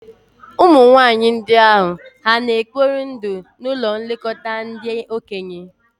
Ụmụ nwanyị ndị ahụ hà na-ekpori ndụ n'ụlọ nlekọta ndị okenye?